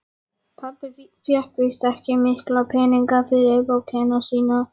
Pabbi fékk víst ekki mikla peninga fyrir bókina sína.